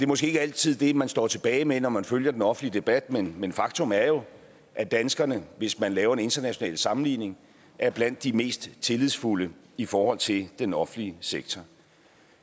måske ikke altid det man står tilbage med når man følger den offentlige debat men men faktum er jo at danskerne hvis man laver en international sammenligning er blandt de mest tillidsfulde i forhold til den offentlige sektor